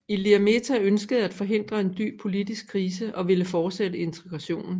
Ilir Meta ønskede at forhindre en dyb politisk krise og ville fortsætte integrationen